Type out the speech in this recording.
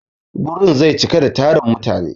Gurin zai cika da tarin mutane.